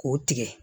K'o tigɛ